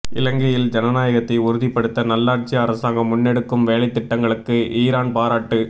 இலங்கையில் ஜனநாயகத்தை உறுதிப்படுத்த நல்லாட்சி அரசாங்கம் முன்னெடுக்கும் வேலைத் திட்டங்களுக்கு ஈரான் பாராட்டு